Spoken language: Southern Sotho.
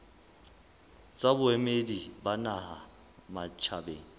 tsa boemedi ba naha matjhabeng